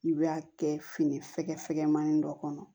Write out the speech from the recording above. I bɛ a kɛ fini fɛ fɛgɛmannin dɔ kɔnɔ